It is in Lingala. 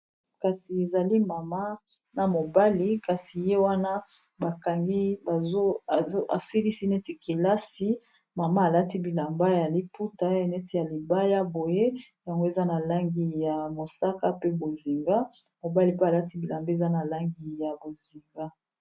kasi ezali mama na mobali kasi ye wana bakangi asilisi neti kelasi mama alati bilamba ya liputa eneti ya libaya boye yango eza na langi ya mosaka pe bozinga mobali pe alati bilamba eza na langi ya bozinga